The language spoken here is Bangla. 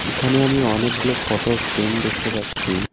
এখানে আমি অনেকগুলো ফটো ফ্রেম দেখতে পাচ্ছি।